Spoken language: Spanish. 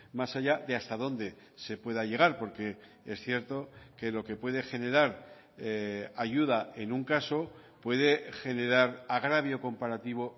más allá de hasta dónde se pueda llegar porque es cierto que lo que puede generar ayuda en un caso puede generar agravio comparativo